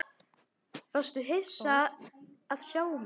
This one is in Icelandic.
Varstu hissa að sjá mig?